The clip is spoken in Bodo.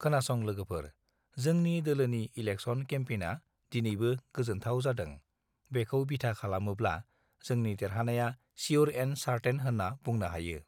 खोनासं लोगोफोर जोंनि दोलोनि इलेकसन केमपैनआ दिनैबो गोजोन्थव जादों बेखौ बिथा खालामोब्ला जोंनि देरहानाया सियुर एन्ड सारथेइन होत्रा बुंनो हायो